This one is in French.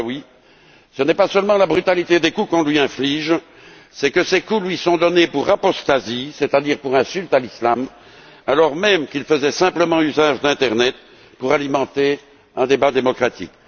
Badaoui, ce n'est pas seulement la brutalité des coups qu'on lui inflige, c'est que ces coups lui sont donnés pour apostasie, c'est à dire pour insulte à l'islam, alors même qu'il faisait simplement usage de l'internet pour alimenter un débat démocratique.